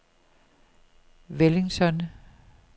Wellington